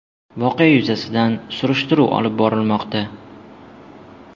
Voqea yuzasidan surishtiruv olib borilmoqda.